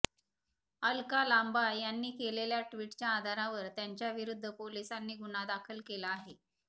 अलका लांबा यांनी केलेल्या ट्वीटच्या आधारावर त्यांच्याविरुद्ध पोलिसांनी गुन्हा दाखल केला आहे